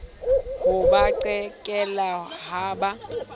ha ba qhekelle ha ba